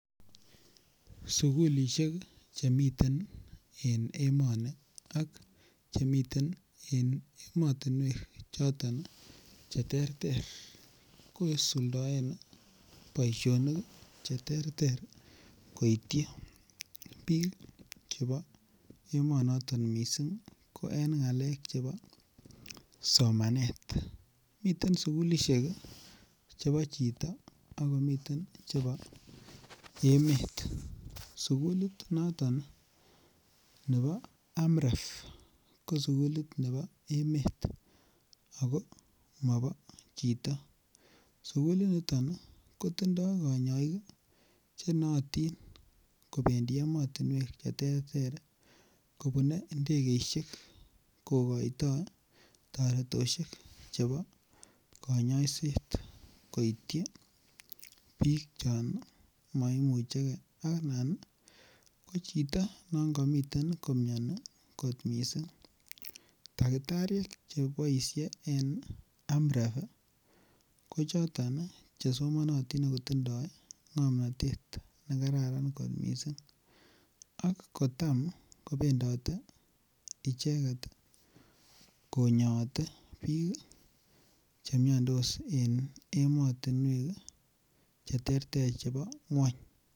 Sukulisiek Che miten en emoni ak chemiten en emotinwek choton Che terter kosuldaen boisionik Che terter koityi chebo emonoto mising ko en ngalek chebo somanet miten sukulisiek Che chito ak komiten chebo emet sukulit noton nebo AMREF ko sukulit nebo emet ako mobo chito sukuliniton kobo kanyaik Che nootin kobendi emotinwek Che terter kobune ndegeisiek kokoito toretosiek chebo kanyoiset koityi bik chon maimuche ge ak anan ko chito non ko komiten ko mioni kot mising takitariek Che boisie en AMREF ko choton Che somonotin ak kotindoi ngomnatet nekaran kot mising ak kotam kobendote icheget konyoote bik Che miandos en emotinwek Che terter chebo ngwony